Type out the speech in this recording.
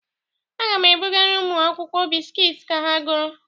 Aga m ebugara ụmụ akwụkwọ biskiit ka ha goro.